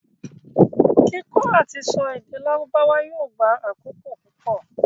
Kíkọ́ àtisọ èdè lárùbáwá yóò gba àkókò púpọ̀.